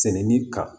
Sɛnɛni kan